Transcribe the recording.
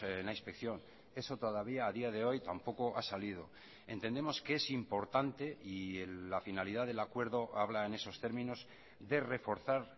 en la inspección eso todavía a día de hoy tampoco ha salido entendemos que es importante y la finalidad del acuerdo habla en esos términos de reforzar